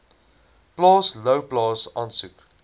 plaas louwplaas asook